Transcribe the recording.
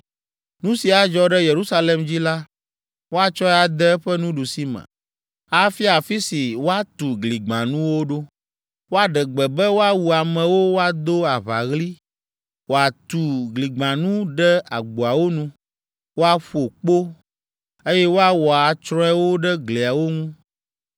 Nu si adzɔ ɖe Yerusalem dzi la, woatsɔe ade eƒe nuɖusime, afia afi si woatu gligbãnuwo ɖo, woaɖe gbe be woawu amewo woado aʋaɣli, wòatu gligbãnu ɖe agboawo nu, woaƒo kpo, eye woawɔ atsrɔewo ɖe gliawo ŋu.